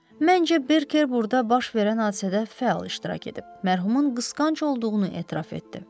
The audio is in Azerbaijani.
Məncə, Birker burda baş verən hadisədə fəal iştirak edib, mərhumun qısqanc olduğunu etiraf etdi.